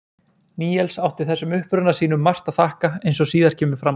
Níels átti þessum uppruna sínum margt að þakka eins og síðar kemur fram.